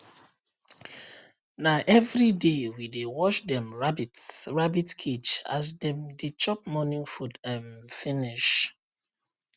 na everyday we dey wash dem rabbit rabbit cage as dem dey chop morning food um finish